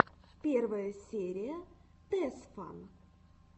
первая серия тесфан